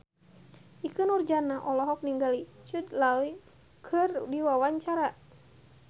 Ikke Nurjanah olohok ningali Jude Law keur diwawancara